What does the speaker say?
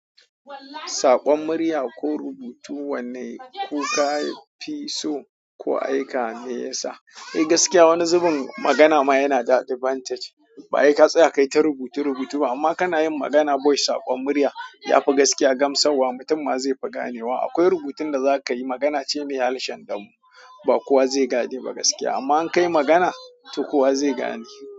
Saƙon murya ko rubutu wanne ku ka fi so ko aika ne ya sa? Eh gaskiya wani zubin magana ma yana da advantage. Baheka tsaya kaita rubuta rubutu ba amma kanayin magana voice saƙon murya yafi gaskiya gamsar wa mutum ma zefi ganewa. Akwai rubutun da za ka yi magana ce ne harshen damo ba kowa zai gane ba gaskiya amma in ka yi magana to kowa zai gane.